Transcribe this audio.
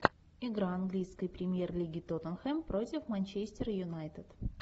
игра английской премьер лиги тоттенхэм против манчестер юнайтед